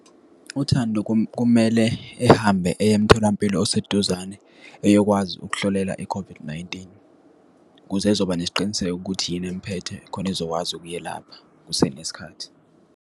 UThando kumele ehambe eye emtholampilo oseduzane, eyokwazi ukuhlolela i-COVID-19, ukuze ezoba nesiqiniseko ukuthi yini emphethe, khona ezokwazi ukuyelapha kusenesikhathi.